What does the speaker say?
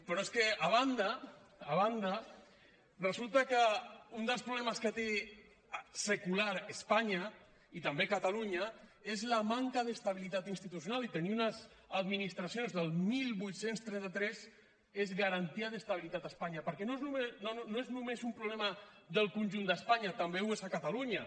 però és que a banda a banda resulta que un dels problemes que té secular espanya i també catalunya és la manca d’estabilitat institucional i tenir unes administracions del divuit trenta tres és garantia d’estabilitat a espanya perquè no és només un problema del conjunt d’espanya també ho és a catalunya